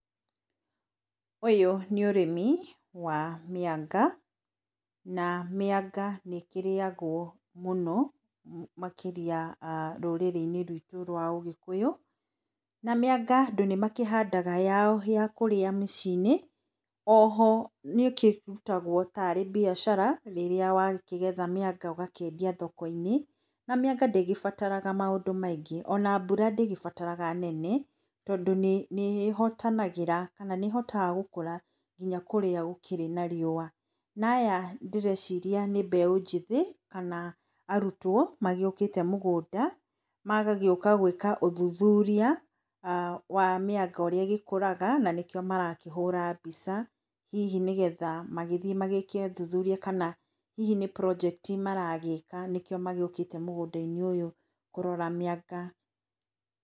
Ũyũ nĩ ũrĩmi wa mĩanga na mĩanga nĩ kĩrĩagwo mũno makĩria rũrĩ-inĩ rwitũ rwa ũgĩkũyũ na mĩanga andũ nĩ makĩhandaga yao yakũrĩa mĩciinĩ. Oho nĩkĩrĩmagwo ta ya mbiacara rĩrĩa wakĩgetha mĩanga ũgakĩendia thoko -inĩ na mĩanga ndĩgĩbataraga maũndũ maingĩ ona mbura ndĩgĩbataraga nene tondũ nĩhotaga gũkũra mũno kũrĩa gũkĩrĩ na riũa. Na aya ndĩreciria nĩ mbeũ njĩthĩ kana arutwo magĩũkĩte mũgũnda magagĩũka gwĩka ũthuthuria wa mĩanga ũrĩa ĩgĩkũraga nanĩkĩo marakĩhũra mbica hihi nĩgetha magĩthiĩ magĩke ũthuthuria kana hihi nĩ project maragĩka nĩ kĩo magĩũkĩte mũgũnda -inĩ kũrora mĩanga.